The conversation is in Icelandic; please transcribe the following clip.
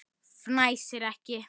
Fnæsir ekki.